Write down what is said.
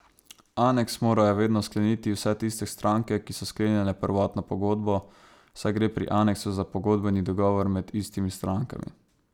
Aneks morajo vedno skleniti vse tiste stranke, ki so sklenile prvotno pogodbo, saj gre pri aneksu za pogodbeni dogovor med istimi strankami.